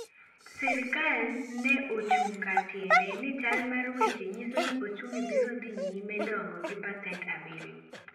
Sirkal neochung' kar tiende ni chal mar weche nyiso ni ochumi biro dhi nyime dongo gi pasent abriyo